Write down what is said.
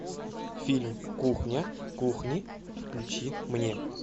фильм кухня кухни включи мне